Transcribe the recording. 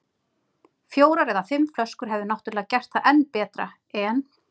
Fjórar eða fimm flöskur hefðu náttúrlega gert það enn betra, en